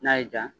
N'a y'i diya